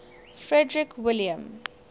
frederick william